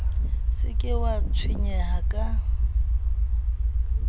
se ke wa tshwenyeha ka